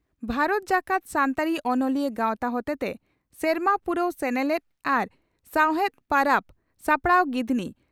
ᱵᱷᱟᱨᱚᱛ ᱡᱟᱠᱟᱛ ᱥᱟᱱᱛᱟᱲᱤ ᱚᱱᱚᱞᱤᱭᱟᱹ ᱜᱟᱣᱛᱟ ᱦᱚᱛᱮᱛᱮ ᱥᱮᱨᱢᱟ ᱯᱩᱨᱟᱹᱣ ᱥᱮᱱᱮᱞᱮᱫ ᱟᱨ ᱥᱟᱣᱦᱮᱫ ᱯᱟᱨᱟᱵᱽ ᱥᱟᱯᱲᱟᱣ ᱜᱤᱫᱷᱱᱤ